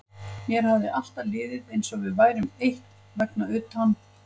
Mér hafði alltaf liðið eins og við værum eitt vegna utan